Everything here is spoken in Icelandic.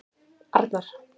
Arnar